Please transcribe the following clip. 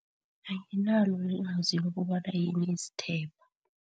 Anginalo ilwazi lokobana yini isithepha.